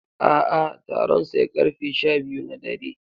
A'a, taron sai karfe sha biyu na dare.